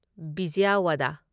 Vijayawada